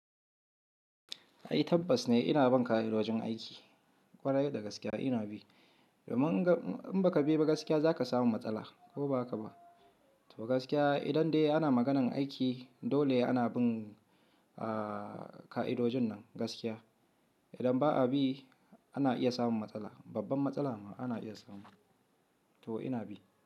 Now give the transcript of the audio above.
Ai tabbas ne ina bin ka'idojin aiki ƙwarai da gaske ina bi. Domin in ba ka bi ba gaskiya za ka samu matsala ko ba haka ba? To gaskiya idan dai ana maganan aiki dole ana bin, aaah, ka'idojin nan gaskiya. Idan ba a bi ana iya samun matsala, babban matsala ma ana iya samu. To ina bi.